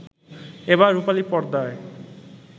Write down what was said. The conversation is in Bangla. এবার রূপালী পর্দায়